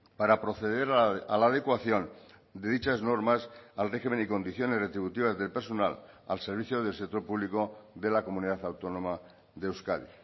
para proceder a la adecuación de dichas normas al régimen y condiciones retributivas del personal al servicio del sector público de la comunidad autónoma de euskadi